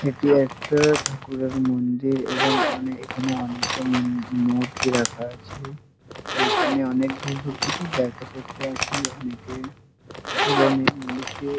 এটি একটা ঠাকুরের মন্দির এবং অনেকে এখানে অনেকে মূর্তি রাখা আছে । এখানে অনেক দূর দূর থেকে দেখা করতে আসে অনেকে এবং এই মন্দিরটি--